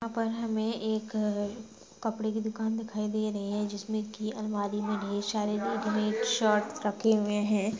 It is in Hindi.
यहाँ पर हमे एक कपड़े की दुकान दिखाई दे रही है जिसमे कि अलमारी मे ढेर सारी रेडीमेड शर्ट्स रखे हुए है।